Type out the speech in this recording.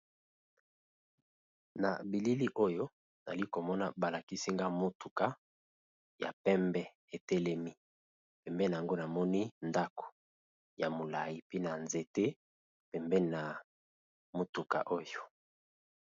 Na bilili oyo ali komona balakisinga motuka ya pembe etelemi pembena yango namoni ndako ya molayi pe na nzete pembeni na motuka oyo